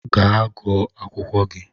Ga gụọ akwụkwọ gi!